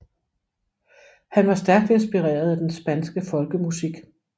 Han var stærkt inspireret af den spanske folkemusik